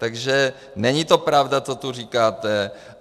Takže není to pravda, co tu říkáte.